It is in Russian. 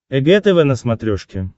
эг тв на смотрешке